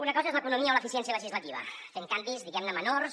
una cosa és l’economia o l’eficiència legislativa fent canvis diguem ne menors